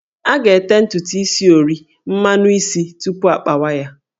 A ga-ete ntutu is ori/mmanụ isi tupu akpawa ya